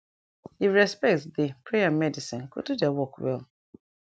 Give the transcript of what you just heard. if respect dey prayer and medicine go do dia work well